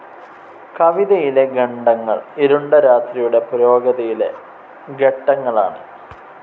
കവിതയിലെ ഖണ്ഡങ്ങൾ ഇരുണ്ട രാത്രിയുടെ പുരോഗതിയിലെ ഘട്ടങ്ങളാണ്.